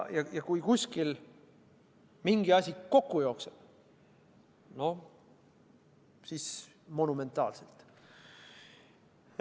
Ja kui kuskil mingi asi kokku jookseb, no siis juhtub see monumentaalselt.